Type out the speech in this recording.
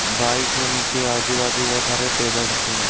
Bike है नीचे आजु-बाजू बहुत सारे टेबल रखे हुए हैं।